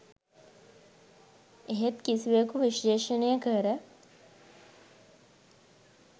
එහෙත් කිසිවෙකු විශ්ලේෂණය කර